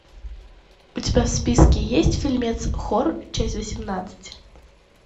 у тебя в списке есть фильмец хор часть восемнадцать